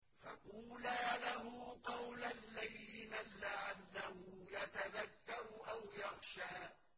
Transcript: فَقُولَا لَهُ قَوْلًا لَّيِّنًا لَّعَلَّهُ يَتَذَكَّرُ أَوْ يَخْشَىٰ